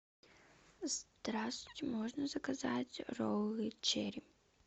здравствуйте можно заказать роллы черри